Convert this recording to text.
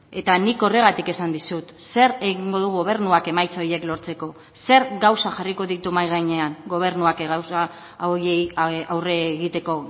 eta nik horregatik esan dizut zer egingo du gobernuak emaitza horiek lortzeko zer gauza jarriko ditu mahai gainean gobernuak gauza horiei aurre egiteko